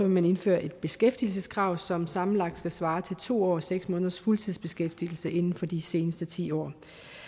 man indføre et beskæftigelseskrav som sammenlagt skal svare til to år og seks måneders fuldtidsbeskæftigelse inden for de seneste ti år